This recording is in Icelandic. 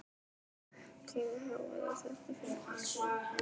Hvaða hávaði er þetta fyrir allar aldir?